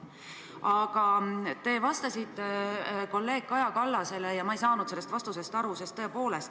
Aga te vastasite kolleeg Kaja Kallasele nii, et ma ei saanud sellest vastusest aru.